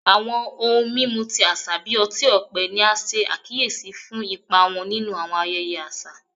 Awọn ohun mimu ti aṣa bi ọti-ọpẹ ni a ṣe akiyesi fun ipa wọn ninu awọn ayẹyẹ aṣa